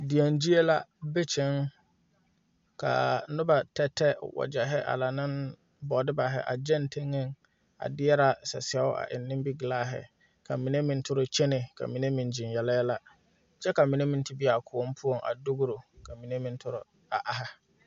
Deɛn gyie la be kyɛŋ kaa nobɔ tɛtɛ wagyɛhi a la ne bɔɔdubahi a gyɛŋ teŋeɛŋ a deɛra sasɛo a eŋ nimiglaahi ka mine meŋ tore kyenɛ ka mine meŋ gyiŋ yele yɛlɛ kyɛ ka mine meŋ te be a kõɔŋ poɔŋ a dugro ka mine meŋ tore a aihi.